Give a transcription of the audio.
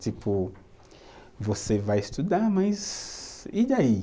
Tipo, você vai estudar, mas e daí?